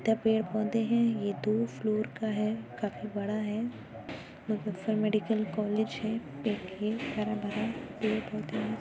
पेड़-पौधे हैं ये दो फ्लोर का है काफी बडा है। मुजफ्फर मेडिकल कॉलेज है एक है हरा-भरा पेड़-पौधे हैं